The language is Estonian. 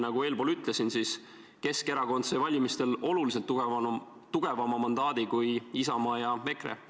Kuigi, nagu ma enne ütlesin, Keskerakond sai valimistel oluliselt tugevama mandaadi kui Isamaa ja EKRE.